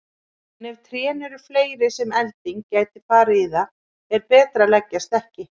En ef trén eru fleiri sem elding gæti farið í er betra að leggjast ekki.